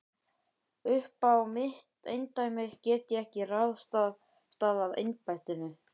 Uppá mitt eindæmi get ég ekki ráðstafað embættinu.